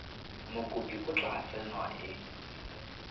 mokopi o tla tsewa e